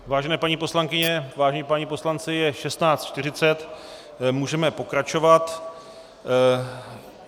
Vážené paní poslankyně, vážení páni poslanci, je 16.40, můžeme pokračovat.